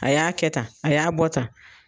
A y'a kɛ tan, a y'a bɔ tan.